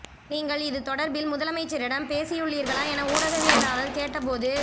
நீங்கள் இது தொடர்பில் முதலமைச்சரிடம் பேசியுள்ளீர்களா என ஊடகவியலாளர் கேட்ட போது